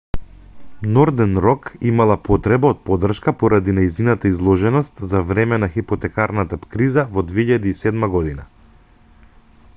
нордерн рок имала потреба од поддршка поради нејзината изложеност за време на хипотекарната криза во 2007 година